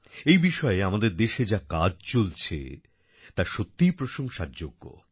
এই বিষয়ে আমাদের দেশে যা কাজ চলছে তা সত্যিই প্রশংসার যোগ্য